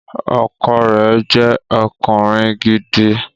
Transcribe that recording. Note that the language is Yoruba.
Ọkọ rẹ̀ jẹ́ ọkùnrin gidi